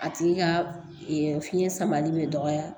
A tigi ka fiɲɛ samalen bɛ dɔgɔya